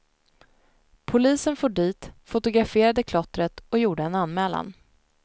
Polisen for dit, fotograferade klottret och gjorde en anmälan.